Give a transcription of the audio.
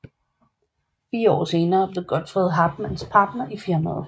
Fire år senere blev Godfred Hartmann partner i firmaet